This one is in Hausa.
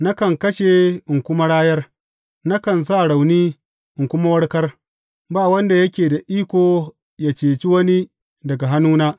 Nakan kashe in kuma rayar, nakan sa rauni in kuma warkar, ba wanda yake da iko yă cece wani daga hannuna.